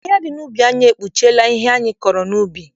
Ahịhịa dị n'ubi anyị ekpuchiela ihe anyị kụrụ n'ubi.